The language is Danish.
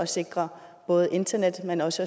sikre både internet men også